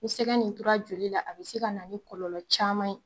Ni sɛgɛ nin tora joli la a bɛ se ka na ni kɔlɔlɔ caman ye.